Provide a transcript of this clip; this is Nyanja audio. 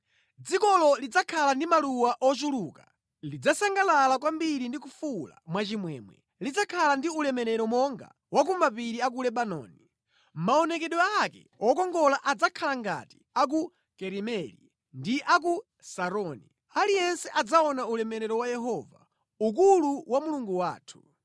Dzikolo lidzakhala ndi maluwa ochuluka lidzasangalala kwambiri ndi kufuwula mwachimwemwe. Lidzakhala ndi ulemerero monga wa ku mapiri a ku Lebanoni, maonekedwe ake wokongola adzakhala ngati a ku Karimeli ndi a ku Saroni. Aliyense adzaona ulemerero wa Yehova, ukulu wa Mulungu wathu.